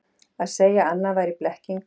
Að segja annað væri blekking